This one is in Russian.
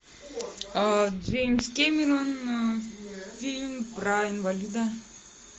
джеймс кэмерон фильм про инвалида